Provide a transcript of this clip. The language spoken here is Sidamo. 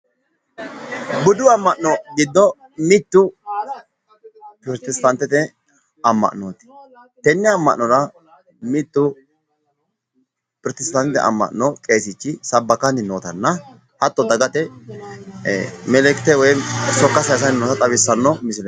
Budu amma'no giddo mittu pirotestaantete amma'nooti tenne amma'nora dagate sokka sayisanni noota leellishanno misileeti